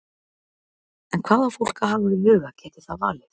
En hvað á fólk að hafa í huga geti það valið?